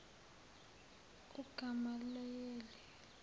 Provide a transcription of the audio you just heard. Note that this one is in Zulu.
ugamalayeli